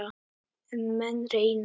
En menn reyna.